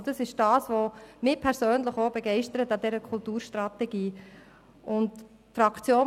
Das ist es, was mich persönlich an dieser Kulturstrategie begeistert.